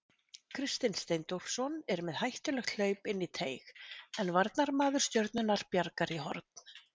Kristinn Steindórsson er með hættulegt hlaup inn í teig en varnarmaður Stjörnunnar bjargar í horn.